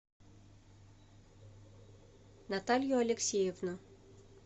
наталью алексеевну